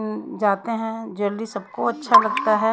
जाते हैं। जल्दी सबको अच्छा लगता है।